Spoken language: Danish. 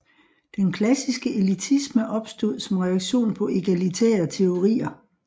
Den klassiske elitisme opstod som reaktion på egalitære teorier